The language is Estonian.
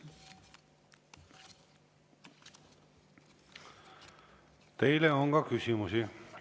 Teile on ka küsimusi.